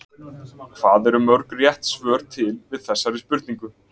Hvað eru mörg rétt svör til við þessari spurningu?